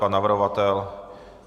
Pan navrhovatel?